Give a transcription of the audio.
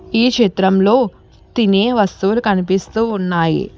ఈ చిత్రంలో తినే వస్తువులు కనిపిస్తూ ఉన్నాయి.